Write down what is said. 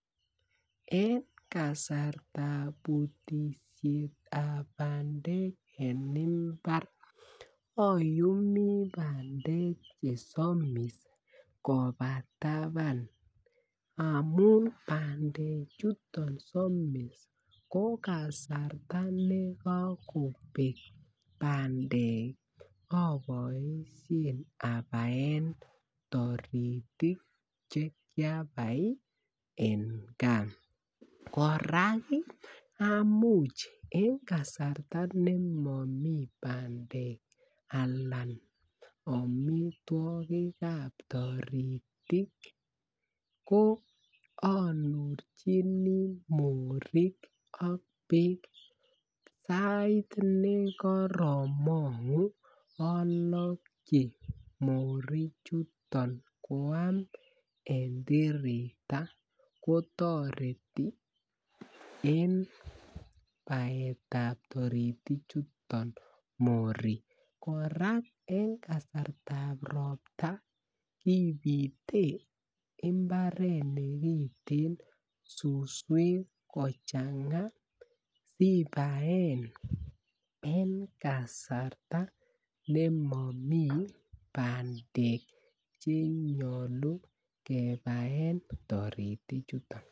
En kasartab Butet ab bandek en mbar ayumi bandek chesomis koba taban amun bandek chesomis ko kasarta nekokobek bandek aboisien abaen taritik Che kiabai en gaa kora amuch en kasarta ne momi bandek anan amitwogik ab taritik anurchini morik ak bek sait nekoromongu alokyi morichuto koam en tirita kotoreti en baetab taritichuto morik kora en kasartab ropta kibite mbaret nekibiten suswek kochanga asi ibaen en kasarta nemomi bandek Che nyolu kebaen taritik chuton